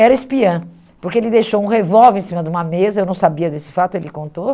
Era espiã, porque ele deixou um revólver em cima de uma mesa, eu não sabia desse fato, ele contou.